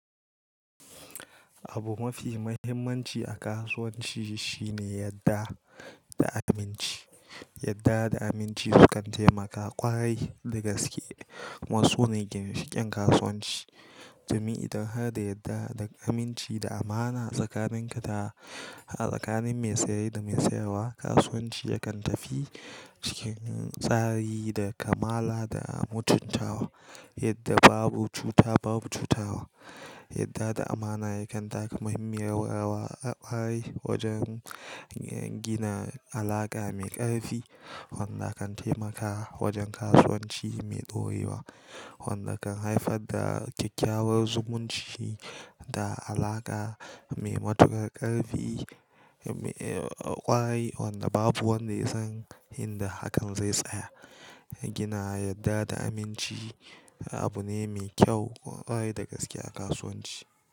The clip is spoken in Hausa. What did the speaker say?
Abu mafi muhimmanci a kasuwanci shine yadda da aminci. Yadda da aminci sukan taimaka ƙwarai da gaske. Kuma sune gincikin kasuwanci, domin idan har da yadda da aminci da amana tsakanin ka da tsakanin mai seye da mai sayarwa, kasuwanci yakan tafi cikin tsari da kamala da mutuntawa yadda babu cuta babu cutawa. Yadda da amana yakan taka muhimmiyar rawa a ƙwarai wojen gina alaƙa mai ƙarfi wanda kan taimaka wajen kasuwanci mai ɗorewa wanda kan haifar da kyakkyawar zumunci da alaƙa mai matukar ƙarfi ƙwarai wanda babu wanda ya san inda hakan zai tsaya. Gina yadda da aminci abu ne mai kyau ƙwarai da gaske a kasuwanci.